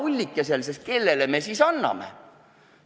Anname küla ullikesele, sest kellele teisele me selle ikka anname!